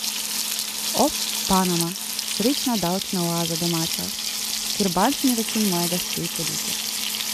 O, Panama, srečna davčna oaza domača, kjer bančni račun mojega stoji podjetja ...